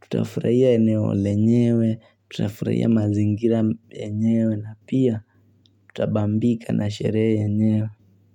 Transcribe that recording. tutafurahiya eneo lenyewe tutafurahiya mazingira enyewe na pia tutabambika na sherehe enyewe.